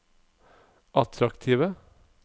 attraktive